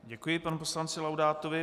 Děkuji panu poslanci Laudátovi.